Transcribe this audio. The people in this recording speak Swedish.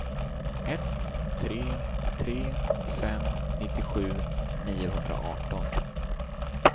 ett tre tre fem nittiosju niohundraarton